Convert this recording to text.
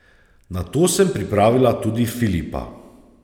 Na to sem pripravila tudi Filipa.